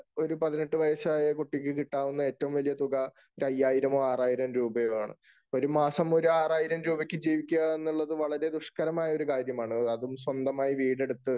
ഒരു പതിനെട്ടു വയസായ കുട്ടിക്ക് കിട്ടാവുന്ന ഏറ്റവും വലിയ തുക ഒരു അയ്യായിരമോ, ആറായിരമോ രൂപ ആണ്. ഒരു മാസം ഒരു ആറായിരം രൂപയ്ക്കു ജീവിക്കുക എന്നുള്ളത് വളരെ ദുഷ്കരമായ ഒരു കാര്യമാണ്. അതും സ്വന്തമായി വീടെടുത്ത്